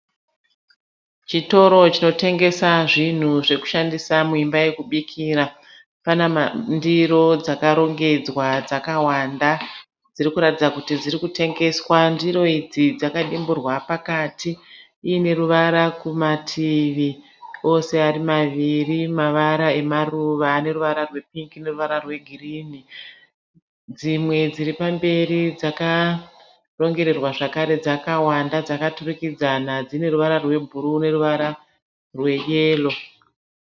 Chitoro chinotengesa zvinhu zvekushandisa muimba yekubikira. Pane ndiro dzakarongedzwa dzakawanda dziri kurakidza kuti dzirikutengeswa. Ndiro idzi dzakadimburwa pakati ine ruvara kumativi ose ari maviri mavara emaruva ane ruvara rwe pingi neruvara rwegirinhi. Dzimwe dziripamberi dzakarongererwa zvakare dzakawanda dzakaturukidzana dzine ruvara rwebhuruu neruvara rweyero.